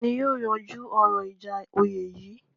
Ta ni yóò yanjú ọ̀rọ̀ ìjà oyè yìí?